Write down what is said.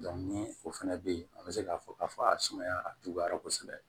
ni o fana bɛ yen an bɛ se k'a fɔ k'a fɔ a sumaya a juguyara kosɛbɛ